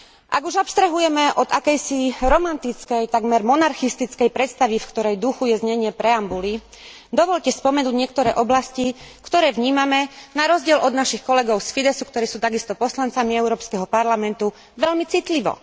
Ak už abstrahujeme od akejsi romantickej, takmer monarchistickej predstavy, v ktorej duchu je znenie preambuly, dovoľte spomenúť niektoré oblasti, ktoré vnímame na rozdiel od našich kolegov z Fidezsu, ktorí sú takisto poslancami Európskeho parlamentu, veľmi citlivo.